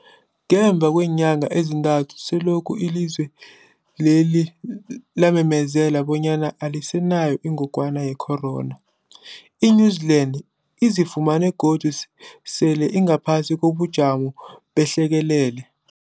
Ngemva kweenyanga ezintathu selokhu ilizwe lela lamemezela bonyana alisenayo ingogwana ye-corona, i-New-Zealand izifumana godu sele ingaphasi kobujamo behlekelele.